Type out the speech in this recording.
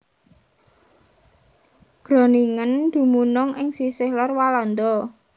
Groningen dumunung ing sisih lor Walanda